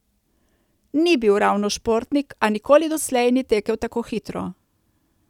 Ni bil ravno športnik, a nikoli doslej ni tekel tako hitro.